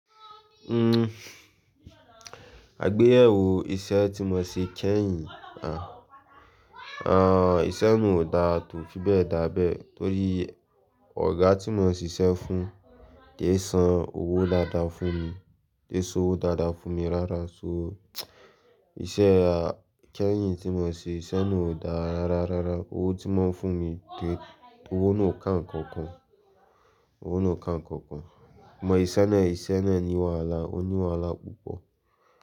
Uhm, àgbéyẹ̀wò iṣẹ́ tí mo ṣe kẹ́yìn, à, àn, iṣẹ́ náà ò da tó fi bẹ́ẹ̀ dá abẹ́ torí ọ̀gá tí mo ń ṣiṣẹ́ fún ki é san owó dáadáa fún mi, ki é san owó dáadáa fún mi rárá. So, iṣẹ́ a, kẹ́yìn tí mo ṣe iṣẹ́ náà ò da rárá, rárá. Owó tí wọ́n ń fún mi ké, owó náà ò ká ǹkankan, owó náà ò ká ǹkankan. Ìmọ̀ iṣẹ́ náà, iṣẹ́ náà ni wàhálà, ó ní wàhálà púpọ̀